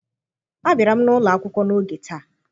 Abịara m ụlọ akwụkwọ n'oge taa.